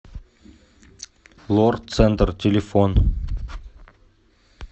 лор центр телефон